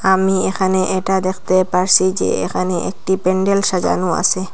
আমি এখানে এটা দেখতে পারসি যে এখানে একটি প্যান্ডেল সাজানো আসে।